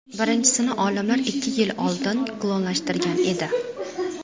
Birinchisini olimlar ikki yil oldin klonlashtirgan edi.